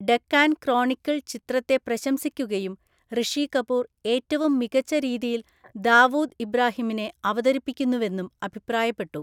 Deccan Chronicle ചിത്രത്തെ പ്രശംസിക്കുകയും റിഷി കപൂർ ഏറ്റവും മികച്ച രീതിയിൽ ദാവൂദ് ഇബ്രാഹീമിനെ അവതരിപ്പിക്കുന്നുവെന്നും അഭിപ്രായപ്പെട്ടു.